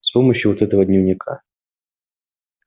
с помощью вот этого дневника